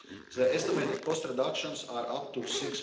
The estimated cost reductions are up to EUR